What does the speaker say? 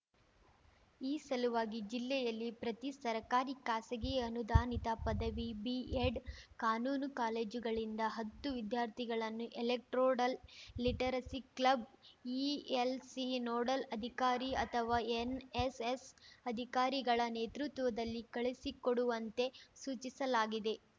ಈ ಸಲುವಾಗಿ ಜಿಲ್ಲೆಯಲ್ಲಿ ಪ್ರತಿ ಸರ್ಕಾರಿ ಖಾಸಗಿ ಅನುದಾನಿತ ಪದವಿ ಬಿಎಡ್‌ ಕಾನೂನು ಕಾಲೇಜುಗಳಿಂದ ಹತ್ತು ವಿದ್ಯಾರ್ಥಿಗಳನ್ನು electoral literacy club ELC nodal ಅಧಿಕಾರಿ ಅಥವಾ ಎನ್‌ಎಸ್‌ಎಸ್‌ ಅಧಿಕಾರಿಗಳ ನೇತೃತ್ವದಲ್ಲಿ ಕಳುಹಿಸಿಕೊಡುವಂತೆ ಸೂಚಿಸಲಾಗಿದೆ